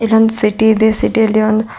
ಇದೊಂದ್ ಸಿಟಿ ಇದೆ ಸಿಟಿಯಲ್ಲಿ ಒಂದ್--